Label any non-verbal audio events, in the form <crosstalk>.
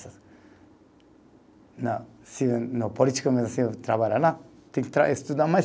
<unintelligible> Se não, político, <unintelligible> trabalha lá, tem que estudar mais.